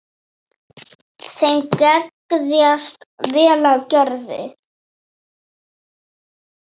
Þeim geðjast vel að Gerði.